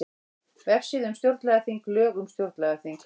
Vefsíða um stjórnlagaþing Lög um stjórnlagaþing